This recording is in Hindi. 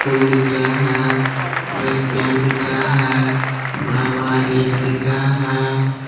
पूल दिख रहे हैं और एक पेड़ दिख रहा हैं बड़ा बड़ा गेट दिख रहा है।